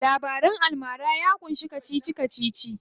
Labaran almara ya ƙunshi kacici kacici.